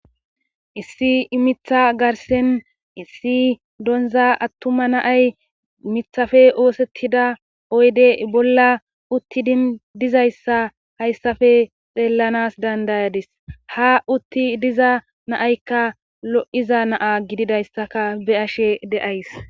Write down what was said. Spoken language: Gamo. Issi mitha garssan issi donza attuma na7ay mithafe oosettida oyde bolla uttidin dizayssa hayssafe xeellanaas danddayadas ha utti diza na7aykka lo7iza na77a gididayssaka be7ashe de7ays.